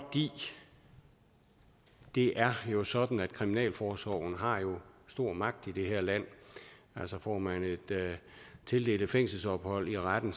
det er jo sådan at kriminalforsorgen har stor magt i det her land altså får man tildelt et fængselsophold af retten